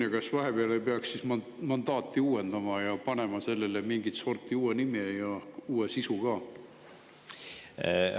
Ja kas vahepeal ei peaks mandaati uuendama ja panema sellele mingit sorti uue nime ja uue sisu ka?